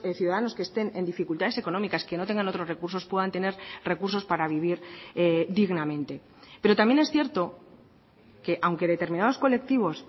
ciudadanos que estén en dificultades económicas que no tengan otros recursos puedan tener recursos para vivir dignamente pero también es cierto que aunque determinados colectivos